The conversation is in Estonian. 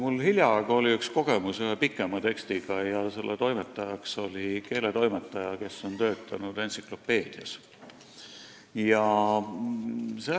Mul oli hiljaaegu üks kogemus ühe pikema tekstiga, mille toimetajaks oli keeletoimetaja, kes on töötanud entsüklopeediakirjastuses.